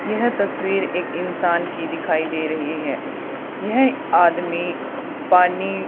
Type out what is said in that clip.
यह तस्वीर एक इंसान की दिखाई दे रही है यह आदमी पानी--